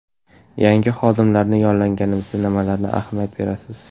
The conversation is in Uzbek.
Yangi xodimlarni yollaganingizda nimalarga ahamiyat berasiz?